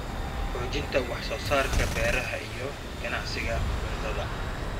Xoojinta wax soo saarka beeraha iyo ganacsiga cuntada.